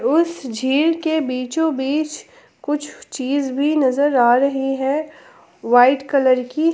उस झील के बीचो बीच कुछ चीज भी नजर आ रही है व्हाईट कलर की।